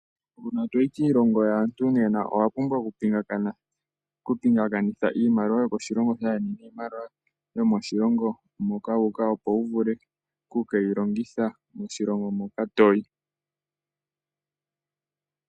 Uuna toyi kiilongo yaantu nena owa pumbwa okupingakanitha iimaliwa yokoshilongo shaandjeni niimaliwa yomoshilongo moka wu uka opo wuvule oku keyilongitha moshilongo moka toyi.